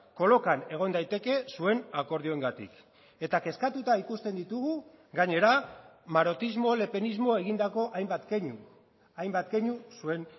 kolokan egon daiteke zuen akordioengatik eta kezkatuta ikusten ditugu gainera marotismo lepenismo egindako hainbat keinu hainbat keinu zuen